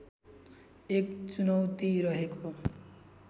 एक चुनौती रहेको